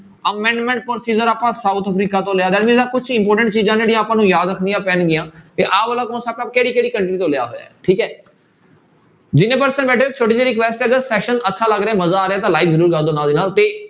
Amendment procedure ਆਪਾਂ south Africa ਤੋਂ ਲਿਆ that means ਆਹ ਕੁਛ important ਚੀਜ਼ਾਂ ਜਿਹੜੀਆਂ ਆਪਾਂ ਨੂੰ ਯਾਦ ਰੱਖਣੀਆਂ ਪੈਣਗੀਆਂ ਤੇ ਆਹ ਵਾਲਾ ਆਪਾਂ ਕਿਹੜੀ ਕਿਹੜੀ country ਤੋਂ ਲਿਆ ਹੋਇਆ ਹੈ ਠੀਕ ਹੈ ਜਿੰਨੇ person ਬੈਠੇ ਛੋਟੀ ਜਿਹੀ request ਹੈ ਜੇ session ਅੱਛਾ ਲੱਗ ਰਿਹਾ ਮਜਾ ਆ ਰਿਹਾ ਤਾਂ like ਜ਼ਰੂਰ ਕਰ ਦਓ ਨਾਲ ਦੀ ਨਾਲ ਤੇ